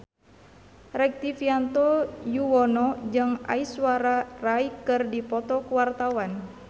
Rektivianto Yoewono jeung Aishwarya Rai keur dipoto ku wartawan